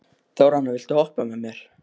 Þórhanna, viltu hoppa með mér?